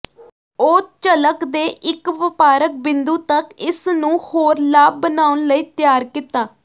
ਉਹ ਝਲਕ ਦੇ ਇੱਕ ਵਪਾਰਕ ਬਿੰਦੂ ਤੱਕ ਇਸ ਨੂੰ ਹੋਰ ਲਾਭ ਬਣਾਉਣ ਲਈ ਤਿਆਰ ਕੀਤਾ